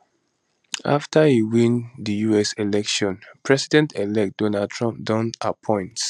afta e win di us election presidentelect donald trump don appoint